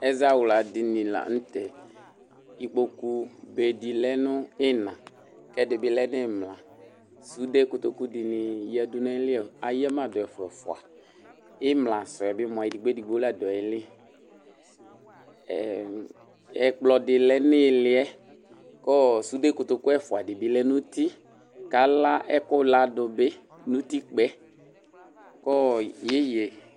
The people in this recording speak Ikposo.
Ɛzawla dini lanʋtɛ ikpokʋ dedi lɛnʋ iina kʋ ɛdibi lɛnʋ imla sude kotoku dini yadʋ eyama dʋ ɛfʋa ɛfʋa imla sʋɛbi edigbo ladʋ ayili ɛkplɔdi lɛnʋ iiliyɛ kʋ sude kotokʋ ɛfʋa dibi lɛnʋ uti kʋ ala ɛkʋ ladʋ bi nʋ itikpa yɛ